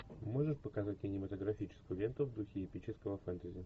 можешь показать кинематографическую ленту в духе эпического фэнтези